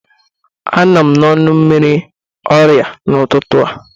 Anọ m n'ọnụ mmiri ọrịa n'ụtụtụ a.